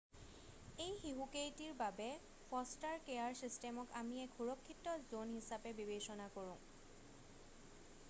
এই শিশুকেইটিৰ বাবে ফ'ষ্টাৰ কেয়াৰ ছিষ্টেমক আমি এক সুৰক্ষিত জ'ন হিচাপে বিবেচনা কৰোঁ